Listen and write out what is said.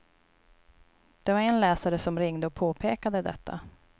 Det var en läsare som ringde och påpekade detta.